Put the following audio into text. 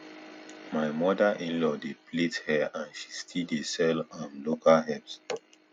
my mother in law dey plait hair and she still dey sell um local herbs